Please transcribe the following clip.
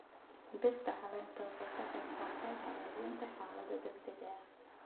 Dhirta caleenta waxay ka qayb qaataan hagaajinta xaaladda deegaanka.